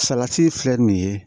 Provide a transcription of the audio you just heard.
Salati filɛ nin ye